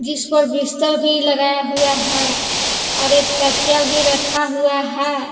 इस पर बिस्तर भी लगाया हुआ हैं और एक तकिया भी रखा हुआ हैं।